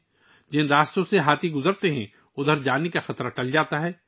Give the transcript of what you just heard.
ہاتھی جن راستوں سے گزرتے ہیں ان کو پار کرنے کا خطرہ ٹل جاتا ہے